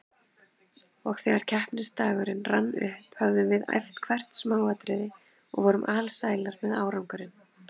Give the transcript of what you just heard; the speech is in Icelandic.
Og þegar keppnisdagurinn rann upp höfðum við æft hvert smáatriði og vorum alsælar með árangurinn.